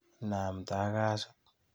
Inamta ak kasit.